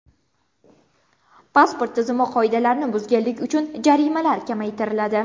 Pasport tizimi qoidalarini buzganlik uchun jarimalar kamaytiriladi.